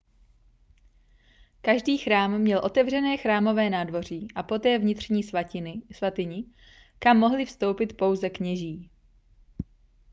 každý chrám měl otevřené chrámové nádvoří a poté vnitřní svatyni kam mohli vstoupit pouze kněží